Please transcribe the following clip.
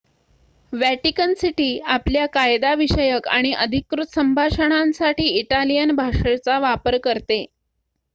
Vatican city आपल्या कायदा विषयक आणि अधिकृत संभाषणांसाठी इटालियन भाषेचा वापर करते